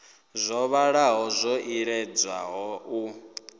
dzo vhalaho dzo iledzwaho u